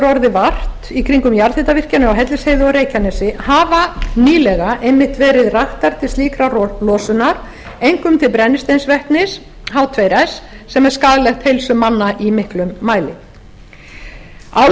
orðið vart við í kringum jarðhitavirkjanir á hellisheiði og reykjanesi hafa nýlega einmitt verið raktar til slíkrar losunar einkum til brennisteinsvetnis h tveir s sem er skaðlegt heilsu manna í miklum mæli álverið